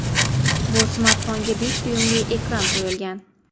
Bu smartfonga besh dyuymli ekran qo‘yilgan.